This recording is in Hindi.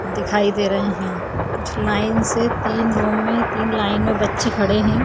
दिखाई दे रहे है कुछ लाइन्स है तीन रो में तीन लाइन में बच्चे खड़े हैं।